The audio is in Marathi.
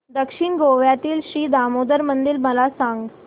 दक्षिण गोव्यातील श्री दामोदर मंदिर मला सांग